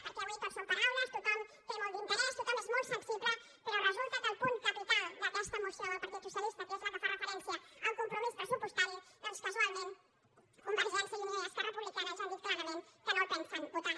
perquè avui tot són paraules tothom hi té molt d’interès tothom hi és molt sensible però resulta que el punt capital d’aquesta moció del partit socialista que és el que fa referència al compromís pressupostari doncs casualment convergència i unió i esquerra republicana ja han dit clarament que no el pensen votar